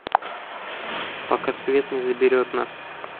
пока свет не заберет нас